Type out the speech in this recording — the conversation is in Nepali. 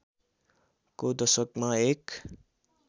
को दशकमा एक